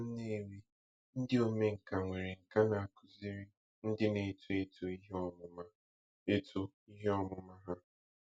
Na Nnewi, ndị omenkà nwere nkà na-akụziri ndị na-eto eto ihe ọmụma eto ihe ọmụma ha.